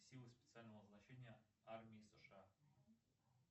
силы специального назначения армии сша